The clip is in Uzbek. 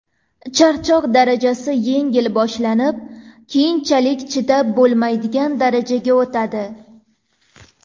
Charchoq darajasi yengil boshlanib, keyinchalik chidab bo‘lmaydigan darajaga o‘tadi.